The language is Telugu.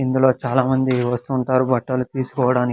ఇందులో చాలా మంది వస్తూ ఉంటారు బట్టలు తీసుకోవడాని--